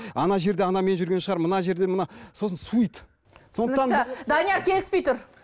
ана жерде анамен жүрген шығар мына жерде мына сосын суиды сондықтан данияр келіспей тұр